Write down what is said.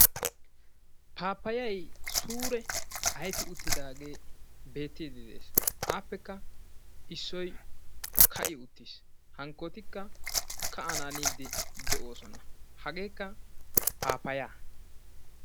pappayay suure aufi uttidaage beeti de'ees; appekka issoy ka'"i uttiis; hankkotikka ka"ananidde de'oosona; hagetikka pappaya.